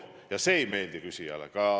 Muidugi see ei meeldi küsijale.